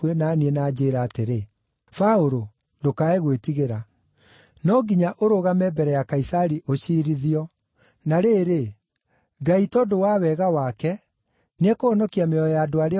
aanjĩĩra atĩrĩ, ‘Paũlũ ndũkae gwĩtigĩra. No nginya ũrũgame mbere ya Kaisari ũciirithio; na rĩrĩ, Ngai tondũ wa wega wake, nĩekũhonokia mĩoyo ya andũ arĩa othe ũrĩ nao.’